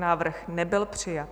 Návrh nebyl přijat.